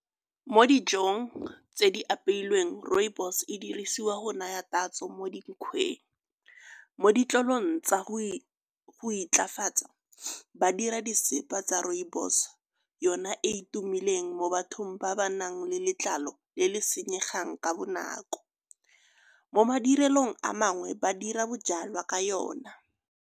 Mo dijong tse di apeilweng rooibos e dirisiwa go naya tatso mo dinkgweng. Mo ditlolong tsa go intlafatsa ba dira disepa tsa rooibos, yona e e tumileng mo bathong ba ba nang le letlalo le le senyegeng ka bonako. Mo madirelong a mangwe ba dira bojalwa ka yona.